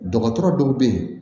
Dɔgɔtɔrɔ dɔw bɛ yen